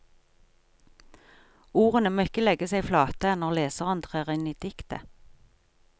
Ordene må ikke legge seg flate når leseren trer inn i diktet.